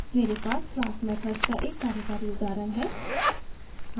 मेरे पास class methods का एक कार्यकारी उदाहरण है